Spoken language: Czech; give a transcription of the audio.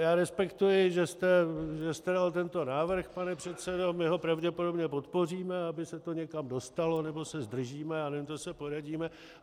Já respektuji, že jste dal tento návrh, pane předsedo, my ho pravděpodobně podpoříme, aby se to někam dostalo, nebo se zdržíme, já nevím, to se poradíme.